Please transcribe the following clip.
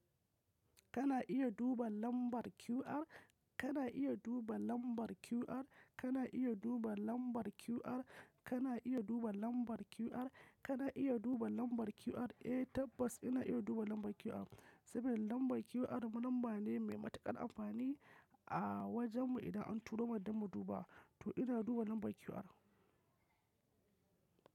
Kana iya duba lambar QR. Kana iya duba lambar QR. Kana iya duba lambar QR. Kana iya duba lambar QR. Kana iya duba lambar QR. Eh tabbas ina iya duba lambar QR, saboda lambar QR lamba ne mai matuƙar amfani a wajenmu idan an turo mana don mu duba, to ina duba lambar QR.